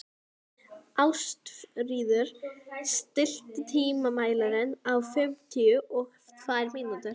Ástfríður, stilltu tímamælinn á fimmtíu og tvær mínútur.